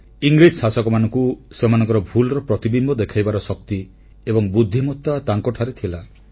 ଇଂରେଜ ଶାସକମାନଙ୍କୁ ସେମାନଙ୍କ ଭୁଲ୍ ର ପ୍ରତିବିମ୍ବ ଦେଖାଇବାର ଶକ୍ତି ଏବଂ ବୁଦ୍ଧିମତା ତାଙ୍କଠାରେ ଥିଲା